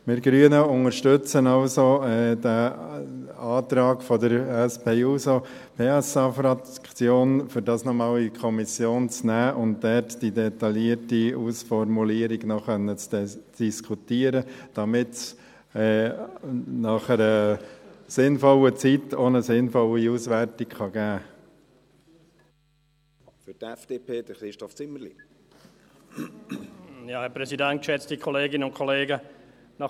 Wir Grünen unterstützen also den Antrag der SP-JUSO-PSA-Fraktion, dies noch einmal in die Kommission zu nehmen, um dort die detaillierte Ausformulierung noch diskutieren zu können, damit es nach einer sinnvollen Zeit auch eine sinnvolle Auswertung geben kann.